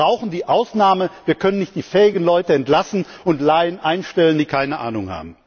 Wir brauchen die Ausnahme, wir können nicht die fähigen Leute entlassen und Laien einstellen, die keine Ahnung haben.